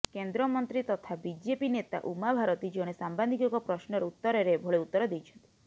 କେନ୍ଦ୍ର ମନ୍ତ୍ରୀ ତଥା ବିଜେପି ନେତା ଉମା ଭାରତୀ ଜଣେ ସାମ୍ବାଦିକଙ୍କ ପ୍ରଶ୍ନର ଉତ୍ତରରେ ଏଭଳି ଉତ୍ତର ଦେଇଛନ୍ତି